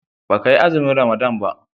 baka yi azumin ramadana ba?